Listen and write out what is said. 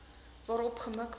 daarop gemik was